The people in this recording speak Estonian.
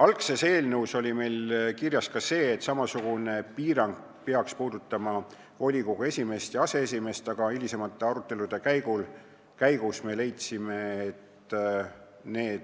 Algses eelnõus oli kirjas, et samasugune piirang peaks kehtima ka volikogu esimeeste ja aseesimeeste kohta, aga hilisemate arutelude käigus me leidsime, et need